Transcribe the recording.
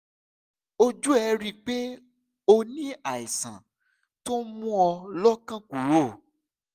ojú ẹ̀ rí i pé o ní àìsàn tó ń mú ọ́ lọ́kàn kúrò